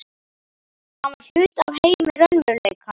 Hann var hluti af heimi raunveruleikans.